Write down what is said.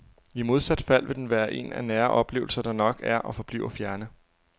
I modsat fald vil den være en af nære oplevelser, der nok er og forbliver fjerne.